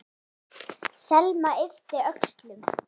Selma yppti öxlum.